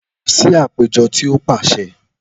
Lọ si apejọ ti o paṣẹ!